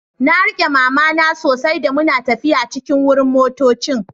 Na rike mama na sosai da muna taffiya cikin wurin motoccin.